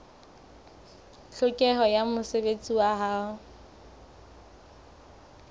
tlhokeho ya mosebetsi wa ho